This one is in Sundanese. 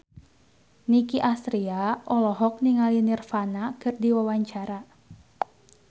Nicky Astria olohok ningali Nirvana keur diwawancara